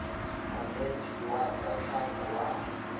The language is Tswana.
monetshi wa tsa tlhago wa